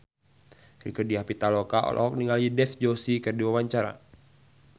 Rieke Diah Pitaloka olohok ningali Dev Joshi keur diwawancara